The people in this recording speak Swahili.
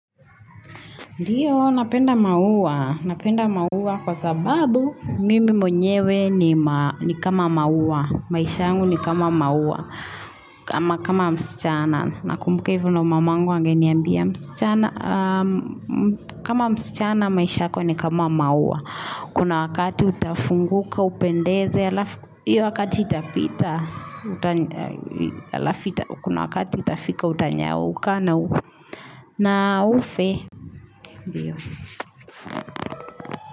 Ndiyo, napenda mauwa. Napenda mauwa kwa sababu mimi mwenyewe ni kama mauwa. Maisha angu ni kama mauwa. Kama msichana. Na kumbuka hivyo na mamangu angeni ambia msichana. Kama msichana maisha yako ni kama mauwa. Kuna wakati utafunguka upendeze Iyo wakati itapita Kuna wakati itafika utanyauka na ufe.